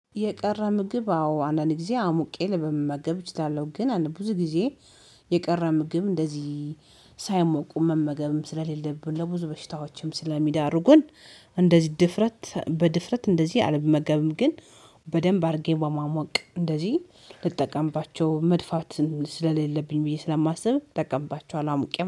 የቀረ ምግብ አዎ አንዳንድ ጊዜ አሙቄ ልመገብ እችላለሁ ግን ብዙ ጊዜ የቀረ ምግብ እንደዚህ ሳያሞቁ መመገብም ስለሌለብን ለብዙ በሽታዎችም ስለሚዳርጉን። እንደዚህ ድፍረት በድፍረት እንደዚህ አልመገብም ግን። በደንብ አድርጌ በማሞቅ እንደዚህ ልጠቀምባቸው መድፋት ስለሌለብኝ ብዬ ስለማስብ እጠቀምባቸዋለሁ አሙቄ